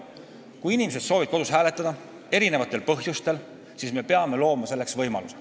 Kui inimesed soovivad eri põhjustel kodus hääletada, siis me peame andma selleks võimaluse.